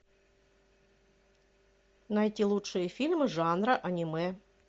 найти лучшие фильмы жанра аниме